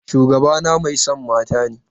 Shugabana mai son mata ne.